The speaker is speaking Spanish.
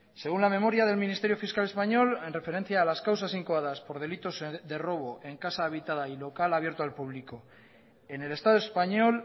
según la memoria del ministerio fiscal español en referencia a las causas incoadas por delitos de robo en casa habitada y local abierto al público en el estado español